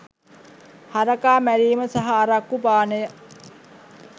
හරකා මැරීම සහ අරක්කු පානය